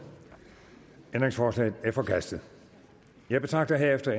ændringsforslaget er forkastet jeg betragter herefter